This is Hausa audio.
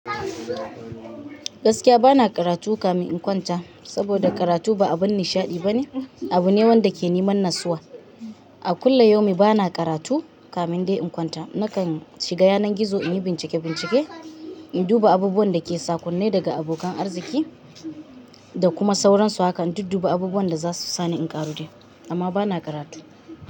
Gaskiya bana karatu kafin in kwanta, saboda karatu ba abin nishaɗi bane. Abu ne wanda ke neman nassuwa. A kullum bana karatu kafin dai in kwanta. Nakan shiga yanar gizo in yi bincike-bincike, in duba abubuwan da ke sakon ne daga abokan arziki da kuma sauransu. Haka in duba abubuwan da za su sani in ƙaru dai. Amma bana karatu.